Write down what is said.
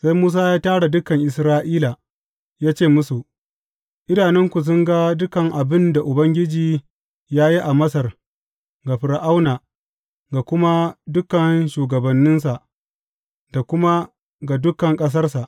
Sai Musa ya tara dukan Isra’ila, ya ce musu, Idanunku sun ga dukan abin da Ubangiji ya yi a Masar ga Fir’auna, ga kuma dukan shugabanninsa da kuma ga dukan ƙasarsa.